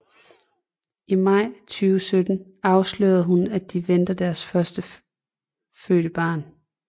I maj 2017 afslørede hun at de venter deres første barn